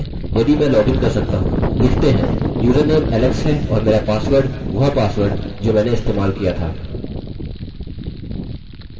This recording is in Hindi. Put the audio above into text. देखते हैं यदि मैं लॉगिन कर सकता हूँ लिखते हैं username alex है और मेरा पासवर्ड वह पासवर्ड जो मैंने इस्तेमाल किया था